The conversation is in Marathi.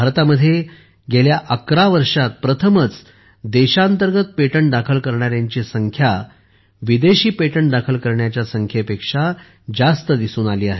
भारतात गेल्या 11 वर्षांत प्रथमच देशांतर्गत पेटंट दाखल करण्याची संख्या विदेशी पेटंट दाखल करण्याच्या संख्येपेक्षा जास्त दिसून आली आहे